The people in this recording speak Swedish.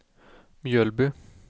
Mjölby